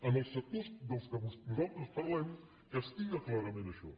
en els sectors de què nosaltres parlem castiga clarament això